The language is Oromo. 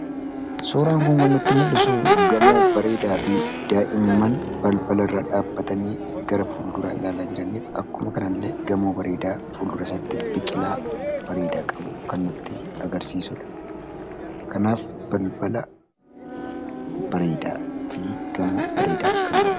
Suuraan kun kan nutti mul'isu gamoo bareedaafi daa'imman balbala irra dhaabbatanii gara fulduraa ilaalaa jiraniif akkuma kana illee gamoo bareedaa fuldura isaatti biqilaa bareedaa qabu kan nutti agarsiisudha. Kanaaf balbala bareedaafi gamoo bareedaa kan qabudha.